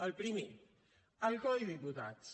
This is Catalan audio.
el primer el codi de diputats